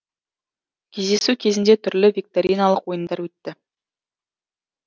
кездесу кезінде түрлі викториналық ойындар өтті